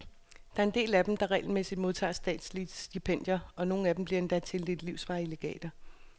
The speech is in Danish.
Der er en del af dem, der regelmæssigt modtager statslige stipendier, og nogle bliver endda tildelt livsvarige legater.